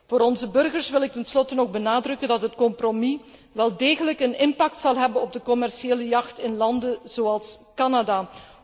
Voor onze burgers wil ik ten slotte nog benadrukken dat het compromis wel degelijk een impact zal hebben op de commerciële jacht in landen zoals Canada.